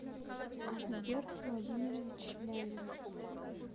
альберт владимирович лялин